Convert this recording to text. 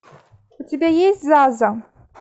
у тебя есть заза